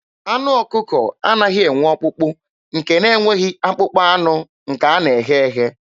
Anụ ọkụkọ anaghị enwe ọkpụkpụ, nke na-enweghị akpụkpọ anụ nke a na-eghe eghe.